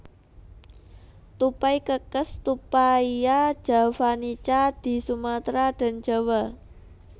Tupai kekes Tupaia javanica di Sumatra dan Jawa